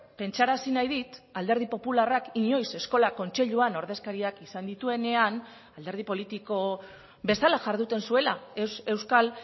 pentsarazi nahi dit alderdi popularrak inoiz eskola kontseiluan ordezkariak izan dituenean alderdi politiko bezala jarduten zuela ez euskal